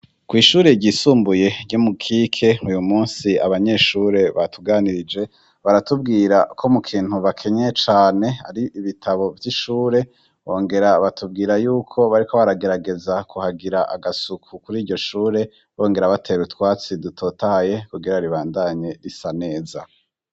Kw'ishure ryisumbuye ryo mu kike uyu musi abanyeshure batuganirije baratubwira ko mu kintu bakenye cane ari ibitabo vy'ishure bongera batubwira yuko bari ko baragerageza kuhagira agasuku kuri iryo shure bongera batera utwatsi dutotaye kugera ribandanye risa neza.